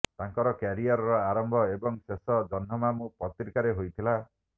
ତାଙ୍କର କ୍ୟାରିୟର ଆରମ୍ଭ ଏବଂ ଶେଷ ଜହ୍ନମାମୁ ପତ୍ରିକାରେ ହୋଇଥିଲା